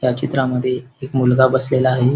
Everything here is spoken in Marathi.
या चित्रामद्धे एक मुलगा बसलेला आहे.